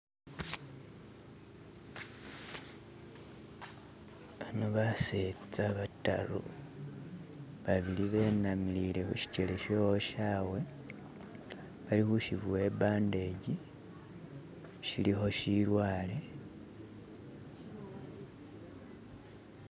Khano batsetsa bataru babili benamilile khushijele sho woshawe balikhushibowa ibandeji shilikho shilwale